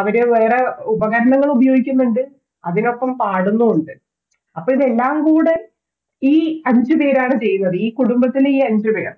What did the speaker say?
അവിടെ ഓരോ ഉപകാരങ്ങൾ ഉപയോഗിക്കുന്നുണ്ട് അതിനൊപ്പം പാടുന്നുണ്ട് അപൊതെല്ലാം കൂടെ ഈ അഞ്ചുപേരാണ് ചെയ്യുന്നത് ഈ കുടുംബത്തിലെ ഈ അഞ്ചു പേർ